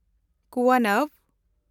ᱠᱩᱣᱟᱱᱟᱵᱷ